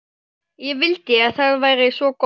Ég vildi að það væri svo gott.